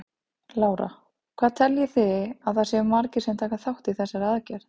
Lára: Hvað teljið þið að það séu margir sem taka þátt í þessari aðgerð?